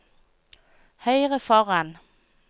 høyre foran